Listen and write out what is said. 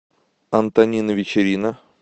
антонина вечерина